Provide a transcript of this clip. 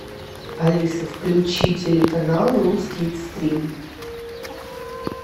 алиса включи телеканал русский экстрим